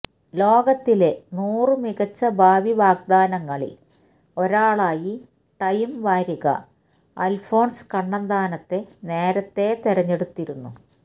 ലോകത്തിലെ നൂറു മികച്ച ഭാവി വാഗ്ദാനങ്ങളില് ഒരാളായി ടൈം വാരിക അല്ഫോന്സ് കണ്ണന്താനത്തെ നേരത്തേ തെരഞ്ഞെടുത്തിരുന്നു